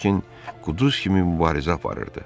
Lakin quduz kimi mübarizə aparırdı.